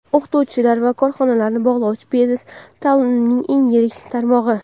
o‘qituvchilar va korxonalarni bog‘lovchi biznes taʼlimining eng yirik tarmog‘i.